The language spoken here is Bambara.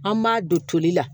An b'a don toli la